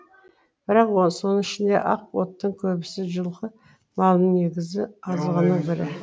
бірақ соның ішінде ақ оттың көбісі жылқы малының негізгі азығының бірі